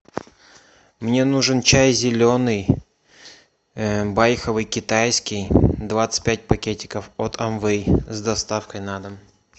мне нужен чай зеленый байховый китайский двадцать пять пакетиков от амвей с доставкой на дом